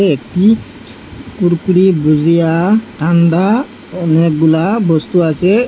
একটি কুরকুরি বুজিয়া ঠান্ডা অনেকগুলা বস্তু আসে।